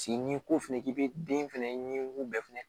Paseke n'i ko fɛnɛ k'i bɛ den fɛnɛ ɲinini bɛɛ fɛnɛ